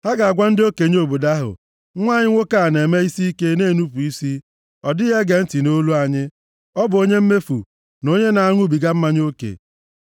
Ha ga-agwa ndị okenye obodo ahụ, “Nwa anyị nwoke a na-eme isiike, na-enupu isi, ọ dịghị ege ntị nʼolu anyị. Ọ bụ onye mmefu na onye na-aṅụbiga mmanya oke.”